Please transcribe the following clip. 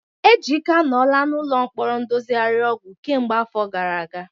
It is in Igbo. Ejike anọla n'ụlọ mkpọrọ ndozigharị ọgwụ kemgbe afọ gara aga.